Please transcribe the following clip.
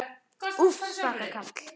Úff, svaka karl.